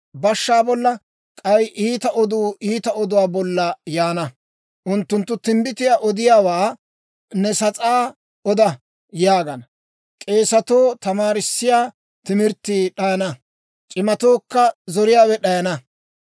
Bashshay bashshaa bolla, k'ay iita oduu iita oduwaa bolla yaana. Unttunttu timbbitiyaa odiyaawaa, «Ne sas'aa oda» yaagana. K'eesetoo tamaarissiyaa timirttii d'ayana; c'imatookka zoriyaawe d'ayana.